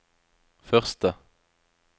første